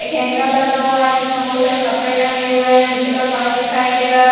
एक हैंगर लगा हुआ हैं जिसमें बहुत सारे कपड़े टंगे हुए हैं नीचे का फर्श दिखाई दे रहा--